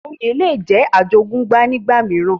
oyè le jẹ́ àjogúnbá nígbà mìíràn